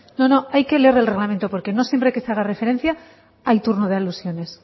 no no hay que leer el reglamento porque no siempre que se haga referencia hay turno de alusiones